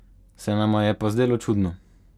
Se nama je pa zdelo čudno.